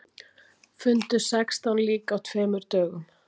Fundu sextán lík á tveimur dögum